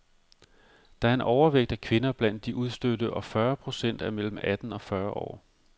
Der er en overvægt af kvinder blandt de udstødte, og fyrre procent er mellem atten og fyrre år.